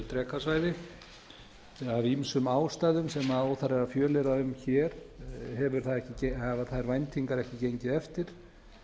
drekasvæði af ýmsum ástæðum sem óþarfi er að fjölyrða um hér hafa þær væntingar ekki gengið eftir